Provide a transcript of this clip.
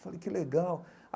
Falei que legal.